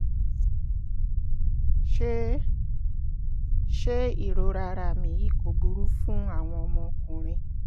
ṣé ṣé ìrora ara mi yìí kò burú fún àwọn ọmọkùnrin